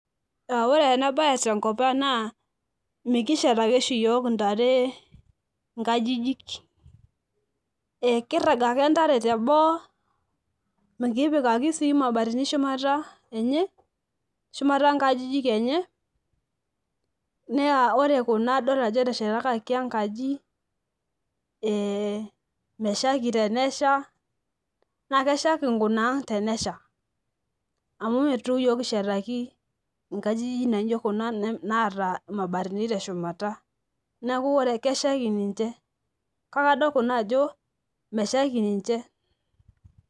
ee ore ena bae tenkop ang naa mikishetaki oshi iyiook ntare nkajijik. kirag ake ntare teboo, mikipikaki sii mabatini shumata enye. shumata nkajijik enye, naa ore kuna adol ajo eteshetakaki enkaji meshaiki tenesha, naa keshaiki nkunaang' tenesha eitu iyiook kishetaki nkajijik naijo kuna, naata mabatini teshumata. neeku ore keshaiki ninche. kake adol kuna ajo meshaiki ninche